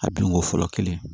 A binko fɔlɔ kelen